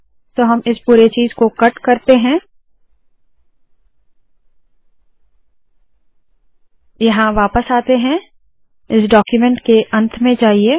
तो हम इस पुरे चीज़ को कट करते है यहाँ वापस आते है इस डाक्यूमेन्ट के अंत में जाइए